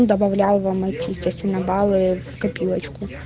добавляю вам начислено баллы в копилочку